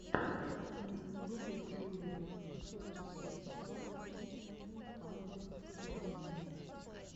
на ютубе джулиа сорти сыкс саузенд ту хандрэд твэнти найн